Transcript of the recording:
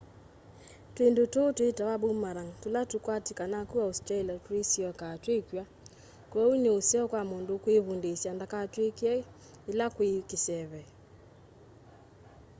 twindu tuu twitawa boomerang tula tukwatikanaa ku australia tuisyokaa twekw'a kwoou ni useo kwa mundu ukwivundisya ndakatwikye yila kwi kiseve